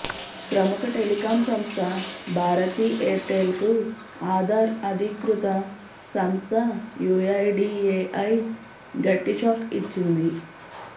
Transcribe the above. ప్రముఖ టెలికాం సంస్థ Bharti Airtel కు ఆధార్ అధికృత సంస్థ యూఐడీఏఐ గట్టి షాక్ ఇచ్చింది